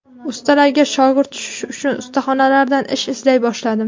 Ustalarga shogird tushish uchun ustaxonalardan ish izlay boshladim.